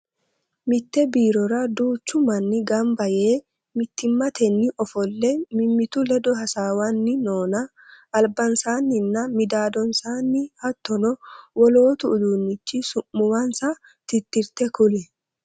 Mitte biirora duuchu manni ganba yee mittimmatenni ofole mimittu ledo hasaawanni noonna albansaanninna midaadonsaanni hattono wolootu uduunnichi su'muwansa tirtitte kuli?